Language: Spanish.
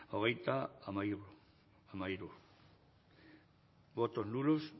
ogeita amallur amairu votos en blanco